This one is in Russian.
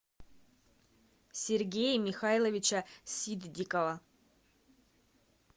сергея михайловича ситдикова